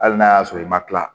Hali n'a y'a sɔrɔ i ma kila